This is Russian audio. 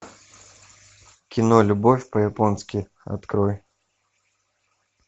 кино любовь по японски открой